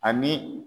Ani